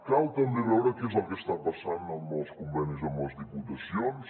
cal també veure què és el que està passant amb els convenis amb les diputacions